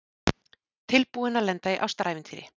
Tilbúin til að lenda í ástarævintýri